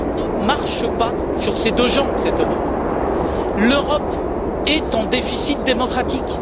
Elle ne marche pas sur ses deux jambes, cette Europe. L'Europe est en déficit démocratique.